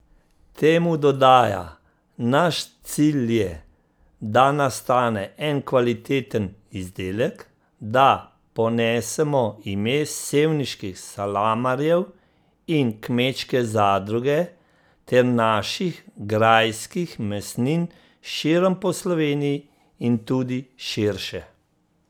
Temu dodaja: 'Naš cilj je, da nastane en kvaliteten izdelek, da ponesemo ime sevniških salamarjev in Kmečke zadruge ter naših grajskih mesnin širom po Sloveniji in tudi širše.